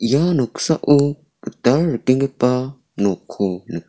ia noksao gital rikenggipa nokko nika--